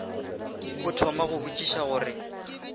a thoma go botšiša gore